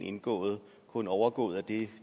indgået kun overgået af det